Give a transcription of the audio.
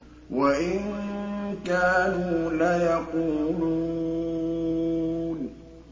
وَإِن كَانُوا لَيَقُولُونَ